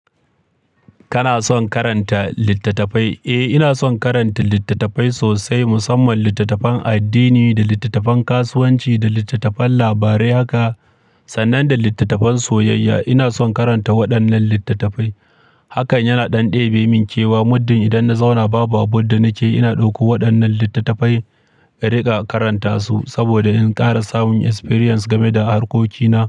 Kana son karanta littattafai? Eh, ina son karanta littattafai sosai, musamman littattafan addini da littattafan kasuwanci da littattafan labarai haka sannan da littattafan soyayya. Ina son karanta waɗannan littattafai. Hakan yana ɗan ɗebe min kewa muddin idan na zauna babu abun da nake yi, ina ɗauko waɗannan littattafai ka riƙa karanta su saboda in ƙara samun experience game da harkokina.